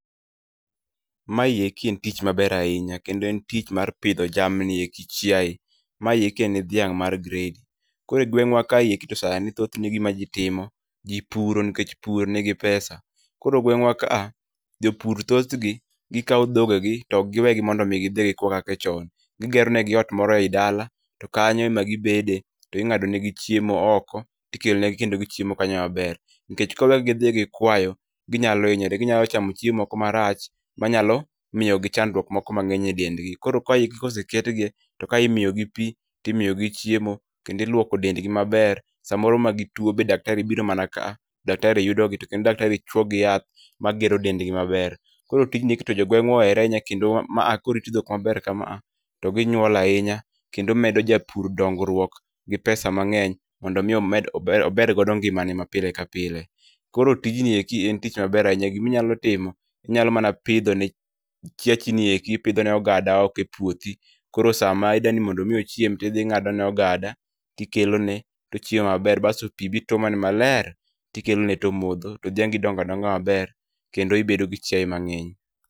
Mayieki en tich maber ahinya, kendo en tich mar pidho jamni eki chiaye. Mayieki en dhiang' mar gredi, koro e gweng'wa kayieki to sani thothne gima ji timo, ji puro nikech pur nigi pesa. Koro gweng'wa kaa, jopur thothgi, gikawo dhoge gi tok giwegi mondomi gidhi gikwa kaka chon. Gigero negi ot moro ei dala, to kanyo ema gibede, to ing'ado negi chiemo oko, tikelonegi kendo gichiemo kanyo maber. Nikech koro ka gidhi gikwayo, ginyalo hinyore, ginyalo chamo chiemo moko marach manyalo miyogi chandruok moko mang'eny e dendgi. Koro kaigi koseketgi, to kae imiyogi pi, timiyogi chiemo, kendo iluoko dendgi maber. Samoro ma gituo to daktari biro mana kaa, daktari yudo gi to kendo daktari chuo gi yath, ma gero dendgi maber. Koro tijgieki to jogweng'wa ohere ahinya kendo maa koriti dhok kama, to ginyuol ahinya. Kendo medo japur dongruok gi pesa mang'eny, mondo mi omed ober godo ngima ne ma pile ka pile. Koro tijnieki en tich maber ahinya giminyalo timo, inyalo mana pidho ne chiachi nieki ipidho ne ogada oko e puothi. Koro sama idwani mondo ochiem, ing'ado ne ogada, tikelo ne, tochiemo maber. Basto pi bituomone maler, tikelone tomodho. To dhiangi donga donga maber, kendo ibedo gi chiaye mang'eny.